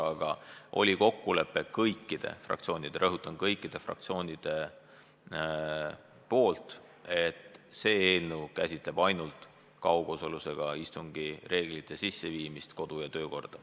Aga seekord oli kõikide fraktsioonide – rõhutan: kõikide fraktsioonide – kokkulepe, et see eelnõu käsitleb ainult kaugosalusega istungi reeglite sisseviimist meie kodu- ja töökorda.